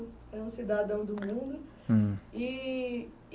É um cidadão do mundo. Hm. E